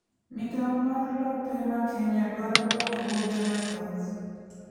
migawo mar lope ma Kenya dwaro lokruoge mathoth